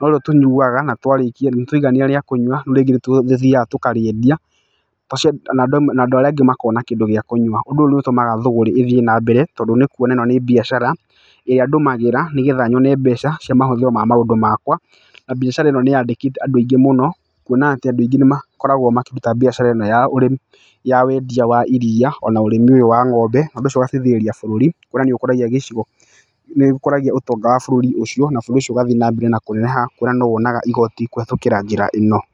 no rĩo tũnyuaga, na twarĩkia twaigania rĩa kũnyua, rĩu rĩngĩ nĩ tũthiaga tũkarĩendia. Na andũ mawe na andũ arĩa angĩ makona kĩndũ gĩa kũnyua. Ũndũ ũyũ nĩ ũtũmaga thũgũrĩ ĩthiĩ na mbere, tondũ nĩ kuona ĩno nĩ biacara, ĩrĩa ndũmagĩra, nĩgetha nyone mbeca cia mahũthĩro ma maũndũ makwa. Na biacara ĩno nĩ yandĩkĩte andũ aingĩ mũno, kuona atĩ andũ aingĩ nĩ makoragwo makĩruta biacara ĩno ya ũrĩmi, ya wendia wa iriia, ona ũrĩmi ũyũ wa ng'ombe. Ũndũ ũcio ũgateithĩrĩria bũrũri, kuona nĩ ũkũragia gĩcigo, nĩ ũkũragia ũtonga wa bũrũri ũcio na bũrũri ũcio ũgathi na mbere na kũneneha kuona no wonaga igooti kũhetũkĩra njĩra ĩno.